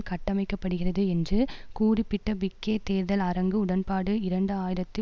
கட்டமைக்கப்படுகிறது என்று கூறிப்பிட்ட பிக்கே தேர்தல் அரங்கு உடன்பாடு இரண்டு ஆயிரத்தி